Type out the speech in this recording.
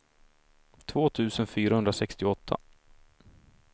två tusen fyrahundrasextioåtta